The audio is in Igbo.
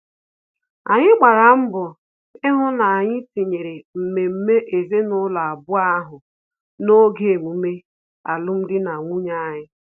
Anyị gbara mbọ ihu na-anyị tinyere mmemme ezinụlọ abụọ ahụ n'oge emume alum dị na nwunye anyị